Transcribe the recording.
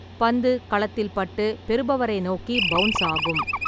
பந்து களத்தில் பட்டு, பெறுபவரை நோக்கி பவுன்ஸ் ஆகும்.